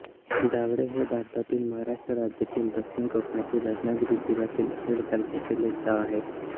धावडे हे भारतातील महाराष्ट्र राज्यातील दक्षिण कोकणातील रत्नागिरी जिल्ह्यातील खेड तालुक्यातील एक गाव आहे